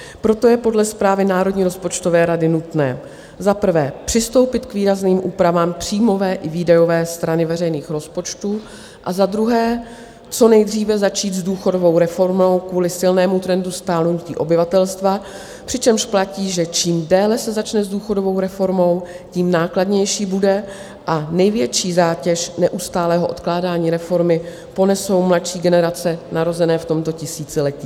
Proto je podle zprávy Národní rozpočtové rady nutné za prvé přistoupit k výrazným úpravám příjmové i výdajové strany veřejných rozpočtů a za druhé co nejdříve začít s důchodovou reformou kvůli silnému trendu stárnutí obyvatelstva, přičemž platí, že čím déle se začne s důchodovou reformou, tím nákladnější bude, a největší zátěž neustálého odkládání reformy ponesou mladší generace narozené v tomto tisíciletí.